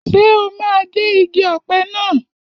Ṣé o máa gé igi ọ̀pẹ naa?